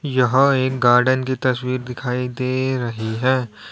यहां एक गार्डन की तस्वीर दिखाई दे रही है।